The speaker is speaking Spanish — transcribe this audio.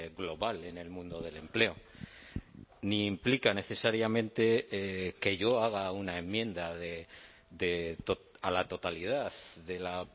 global en el mundo del empleo ni implica necesariamente que yo haga una enmienda a la totalidad de la